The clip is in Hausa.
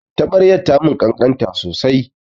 Taɓaryar ta mun ƙanƙanta sosai